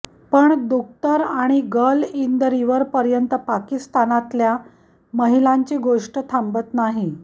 पण दुख्तर आणि girl in the river पर्यंत पाकिस्तानातल्या महिलांची गोष्ट थांबत नाही